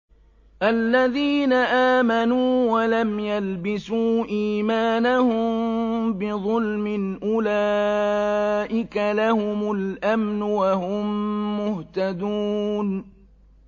الَّذِينَ آمَنُوا وَلَمْ يَلْبِسُوا إِيمَانَهُم بِظُلْمٍ أُولَٰئِكَ لَهُمُ الْأَمْنُ وَهُم مُّهْتَدُونَ